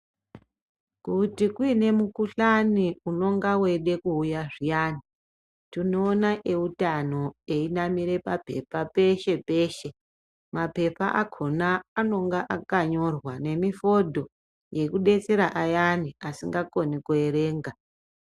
Kuti kuine mukuhlani unonga weida kuuya zviyani tinoona veutano veinamira mapepa peshe peshe. Mapepa akona anenge akanyorwa nemifodho yekudetsera vayana vasingakoni kuerenga.